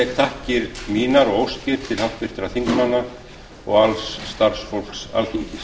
þakkir mínar og óskir til háttvirtra þingmanna og alls starfsfólks alþingis